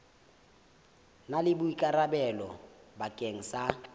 na le boikarabelo bakeng sa